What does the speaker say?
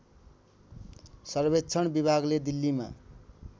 सर्वेक्षण विभागले दिल्लीमा